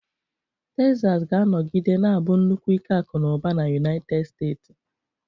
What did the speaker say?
Texas ga-anọgide na-abụ nnukwu ike akụ na ụba na United Steeti.